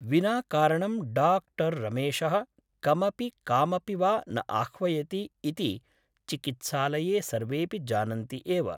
विना कारणं डा रमेशः कमपि कामपि वा न आह्वयति इति चिकित्सालये सर्वेऽपि जानन्ति एव ।